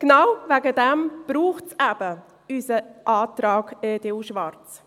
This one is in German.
Genau deswegen braucht es eben unseren Antrag EDU/Schwarz.